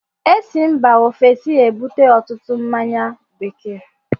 E si mba Ofesi ebute ọtụtụ mmáñyá bekee